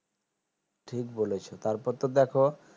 ঠিক বলছো তার পর তো দেখো